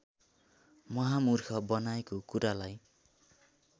महामुर्ख बनाएको कुरालाई